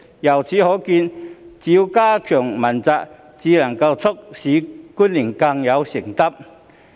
由此可見，只有加強問責才能促使官員更有承擔。